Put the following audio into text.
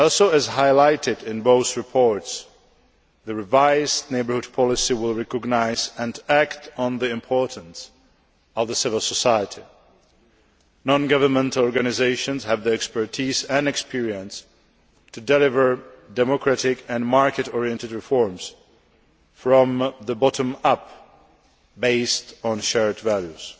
As highlighted in both reports, the revised Neighbourhood Policy will also recognise and act on the importance of the civil society. Non governmental organisations have the expertise and experience to deliver democratic and market oriented reforms from the bottom up, based on shared values.